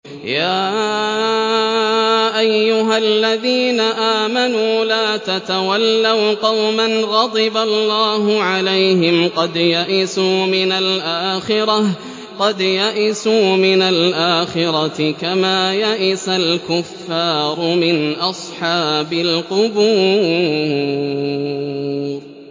يَا أَيُّهَا الَّذِينَ آمَنُوا لَا تَتَوَلَّوْا قَوْمًا غَضِبَ اللَّهُ عَلَيْهِمْ قَدْ يَئِسُوا مِنَ الْآخِرَةِ كَمَا يَئِسَ الْكُفَّارُ مِنْ أَصْحَابِ الْقُبُورِ